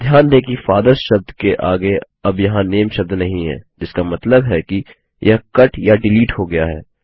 ध्यान दें कि FATHERSशब्द के आगे अब यहाँ नामे शब्द नहीं है जिसका मतलब है कि यह कट या डिलीट हो गया है